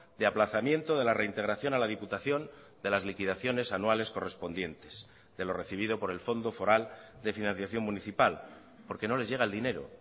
de aplazamiento de la reintegración a la diputación de las liquidaciones anuales correspondientes de lo recibido por el fondo foral de financiación municipal porque no les llega el dinero